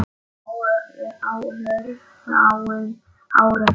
Á örfáum árum.